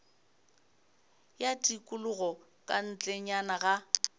ya tikologo ka ntlenyana ga